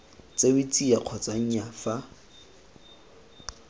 tsewe tsia kgotsa nnyaa fa